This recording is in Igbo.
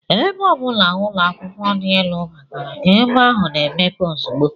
Ebe ọ bụla ụlọakwụkwọ dị elu batara, ebe ahụ na-emepe ozugbo